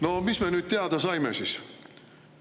No mis me nüüd teada saime siis?